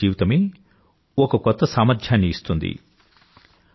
సామూహిక జీవితమే ఒక కొత్త సామర్థ్యాన్ని ఇస్తుంది